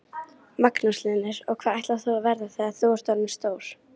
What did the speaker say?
Magnús Hlynur: Og hvað ætlarðu að verða þegar þú ert orðin stór?